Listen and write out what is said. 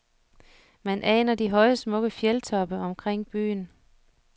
Man aner de høje smukke fjeldtoppe omkring byen.